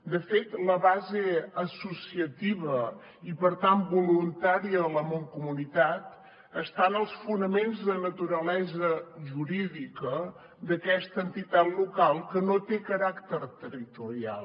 de fet la base associativa i per tant voluntària de la mancomunitat està en els fonaments de naturalesa jurídica d’aquesta entitat local que no té caràcter territorial